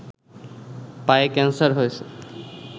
পায়ে ক্যানসার হয়েছে